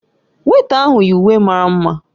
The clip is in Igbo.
Weịta ahụ yi uwe mara mma taa